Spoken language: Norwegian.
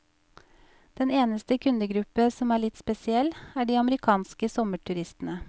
Den eneste kundegruppe som er litt spesiell, er de amerikanske sommerturistene.